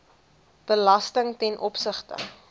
belasting ten opsigte